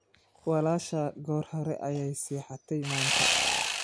Walaashaa goor hore ayay seexatay maanta.